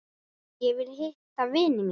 Ég vil hitta vini mína.